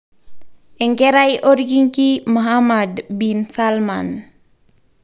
Enkerai olkingi Mohanned bin Salman.